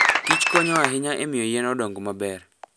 kich konyo ahinya e miyo yien odong maber.